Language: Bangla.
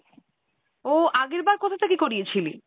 ও আগেরবার কোথা থেকে করিয়েছিলি?